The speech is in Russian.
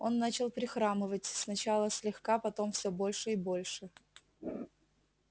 он начал прихрамывать сначала слегка потом всё больше и больше